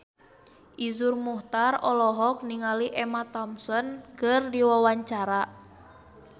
Iszur Muchtar olohok ningali Emma Thompson keur diwawancara